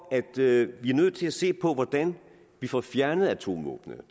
er nødt til at se på hvordan vi får fjernet atomvåbnene og